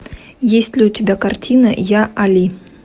есть ли у тебя картина я али